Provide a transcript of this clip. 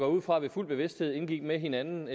ud fra ved fuld bevidsthed indgik med hinanden